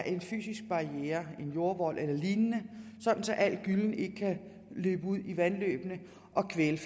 en fysisk barriere en jordvold eller lignende så al gyllen ikke kan løbe ud i vandløbene og kvæle